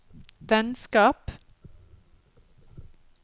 vennskap